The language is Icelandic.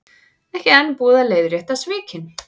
Ekki enn búið að leiðrétta svikin